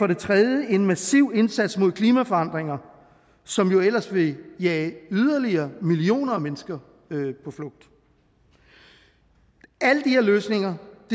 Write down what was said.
det tredje er en massiv indsats mod klimaforandringer som jo ellers vil jage yderligere millioner af mennesker på flugt alle de her løsninger